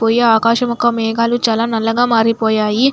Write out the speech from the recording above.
పోయే ఆకాశాలు మేఘాలు చాల నల్లగా మారిపోయాయి.